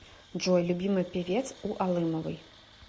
джой любимый певец у алымовой